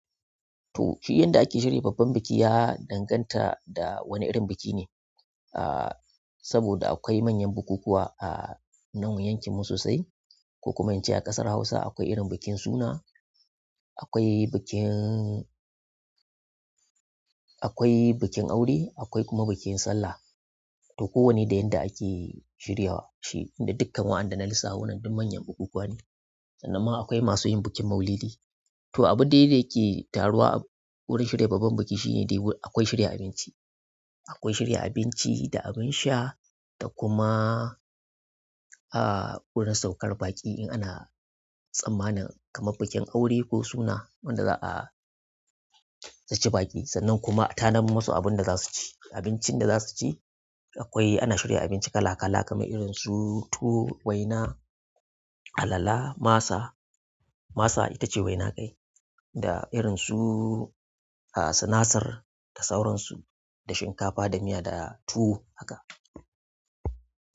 To, shi yanda ake shirya babban buki ya danganta da wani irin buki ne. Ah, saboda akwai manyan bukukuwa a nan yankinmu sosai. Ko kuma ince a ƙasar Hausa akwai irin bukin suna, akwai bukin, akwai bikin aure, akwai kuma bikin sallah. To, kowane da yanda ake shirya shi. Da dukkan wa'anda da na lissafo nan duk manyan bukukuwa ne. Sannan ma akwai masu yin bukin Maulidi. To abu dai da yake taruwa a wurin shirya babban buki shine dai akwai shirya abincin akwai shirya abinci da abun sha da kuma ah, wurin saukan baƙi in ana sammanin kamar bukin aure ko suna wadda za'a rice baki. Sannan kuma a tanar musu abunda zasu ci, abincin da zasu ci akwai ana shirya abinci kala-kala, kaman irin su tuwo, waina, alala, masa masa itace waina kai. Da irin su ah, sinasir da sauransu, da shinkafa, da miya, da tuwo haka.